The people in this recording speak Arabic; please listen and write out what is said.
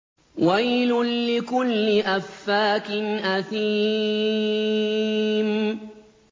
وَيْلٌ لِّكُلِّ أَفَّاكٍ أَثِيمٍ